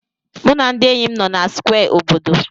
Mụ na ndị enyi m nọ na Square obodo.